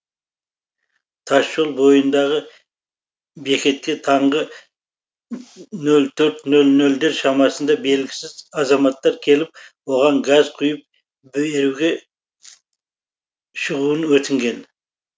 тасжол бойындағы бекетке таңғы нөл төрт нөл нөлдер шамасында белгісіз азаматтар келіп оған газ құйып беруге шығуын өтінген